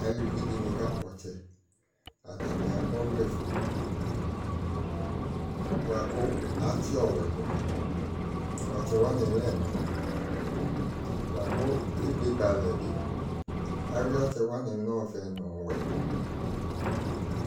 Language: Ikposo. Aluvi de ne kakpɔ ɔtsɛ Atane akɔ ɔvlɛfue boako atse ɔwɛ do Ɔtsɛ wane lɛ ɛna lako ebe ba alɛ be Awe ɔtsɛ wane no ɔvɛ no ɔwɛ